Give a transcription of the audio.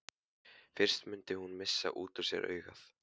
Fyrst mundi hún missa út úr sér augun.